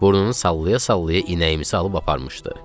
Burnunu sallaya-sallaya inəyimi salıb aparmışdı.